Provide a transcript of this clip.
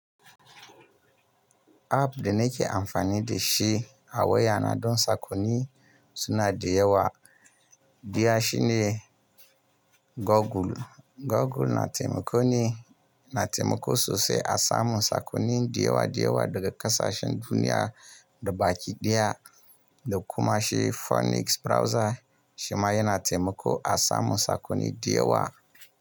App da na ke amfani da shi a waya na don sakonni suna da yawa, diya shi ne Google. Google na taimako sosai a samun sakonni da yawa daga ƙasashen duniya gaba ki dymaya da kuma shi Firefox browser shi ma yana taimako a samu sakonni da yawa.